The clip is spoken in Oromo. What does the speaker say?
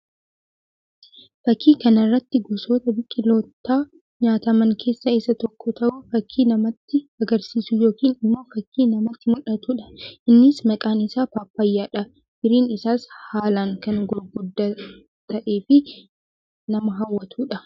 Fakkii kana irratti gosoota biqiloota nyaataman keessaa isa tokko ta'uu; fakkii namatti agarsiisuu yookiin immoo fakkii namatti mul'atuudha. Innis maqaan isaa paappayyaadha. Firiin isaas haalaan kan gurguddaa ta'ee fi nama hawwatuu dha.